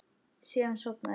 Síðan sofnaði ég.